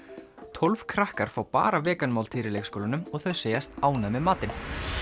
tólf krakkar fá bara vegan máltíðir í leikskólanum og þau segjast ánægð með matinn